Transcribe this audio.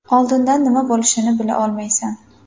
Oldindan nima bo‘lishini bila olmaysan.